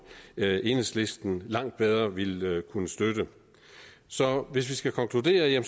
enhedslisten langt bedre ville kunne støtte så hvis vi skal konkludere